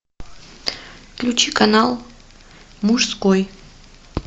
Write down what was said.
включи канал мужской